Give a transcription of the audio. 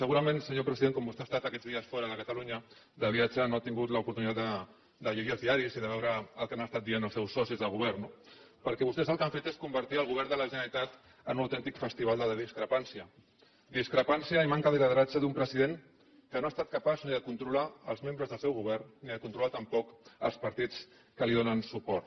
segurament senyor president com vostè ha estat aquests dies fora de catalunya de viatge no ha tingut l’oportunitat de llegir els diaris i de veure el que han estat dient els seus socis de govern no perquè vostès el que han fet és convertir el govern de la generalitat en un autèntic festival de la discrepància discrepància i manca de lideratge d’un president que no ha estat capaç ni de controlar els membres del seu govern ni de controlar tampoc els partits que li donen suport